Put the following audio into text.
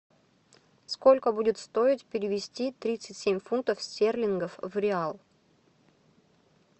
сколько будет стоить перевести тридцать семь фунтов стерлингов в реал